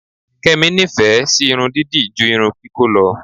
Kẹ́mi nífẹ̀ẹ́ sí irun dídì ju irun kíkó lọ.